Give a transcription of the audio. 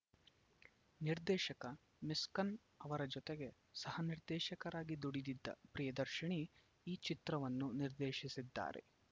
ನಿರ್ದೇಶಕ ಮಿಸ್ಕಿನ್‌ ಅವರ ಜೊತೆಗೆ ಸಹ ನಿರ್ದೇಶಕರಾಗಿ ದುಡಿದಿದ್ದ ಪ್ರಿಯದರ್ಶಿನಿ ಈ ಚಿತ್ರವನ್ನು ನಿರ್ದೇಶಿಸಿದ್ದಾರೆ